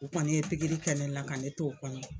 U kɔni ye pikiri kɛ ne la ka ne to o kɔnɔ.